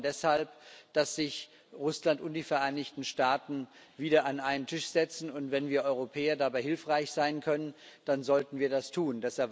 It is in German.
Wir fordern deshalb, dass sich Russland und die Vereinigten Staaten wieder an einen Tisch setzen, und wenn wir Europäer dabei hilfreich sein können, dann sollten wir das tun.